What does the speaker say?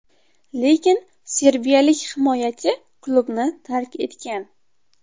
Lekin serbiyalik himoyachi klubni tark etgan.